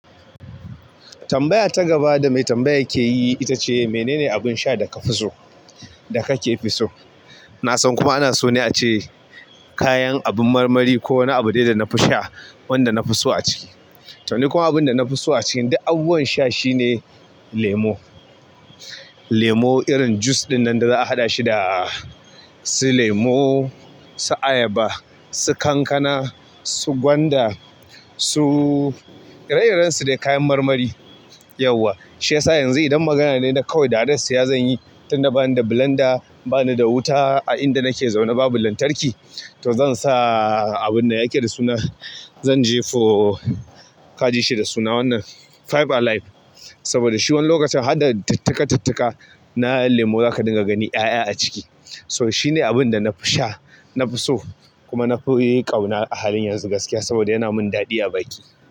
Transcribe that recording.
Tambaya ta gaba da mai tambaya ke yi ita ce, "mene ne abin sha da ka fi so, da ka ke fi so?" Na san kuma ana so ne a ce kayan abun marmari ko wani abu dai da na fi sha wanda na fi so a ciki. To, ni kuma abin da na fi so a cikin duk abubuwan sha shine lemo. Lemo irin jus ɗinnan da za a haɗa shi da, su lemo, su ayaba, su kankana, su gwanda, su ire-iren su dai kayan marmari, yauwa. Shi yasa yanzu idan magana ne na kawai da hadas shi ya zan yi, tun na bani da blanda, bani da wuta a inda nake zaune babu lantarki, to zan sa abun da ya yake da suna, zan jefa ka ji shi da suna wannan, Five Alive. Saboda shi wani lokacin hadda tittika-tittika na lemo za ka dinga gani 'ya'ya a ciki. To shi ne abun da na fi sha, na fi so kuma na fi ƙauna a halin yanzu gaskiya saboda yana min daɗi a baki.